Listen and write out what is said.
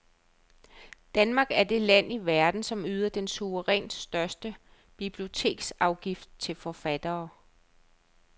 Danmark er det land i verden, som yder den suverænt største biblioteksafgift til forfattere.